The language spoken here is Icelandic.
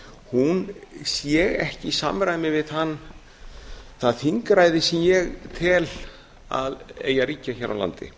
hún sé ekki í samræmi við það þingræði sem ég tel að eigi að ríkja hér á landi